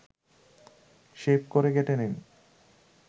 shape করে কেটে নিন